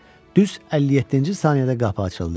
Düz 57-ci saniyədə qapı açıldı.